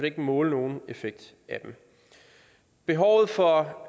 ikke måle nogen effekt af dem behovet for